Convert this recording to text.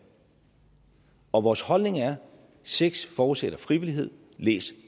og vores holdning er at sex forudsætter frivillighed læs